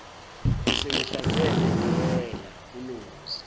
besengihlanze ngedela kunozi